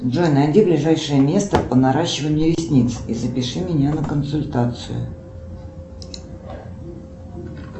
джой найди ближайшее место по наращиванию ресниц и запиши меня на консультацию